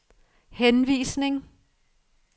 henvisning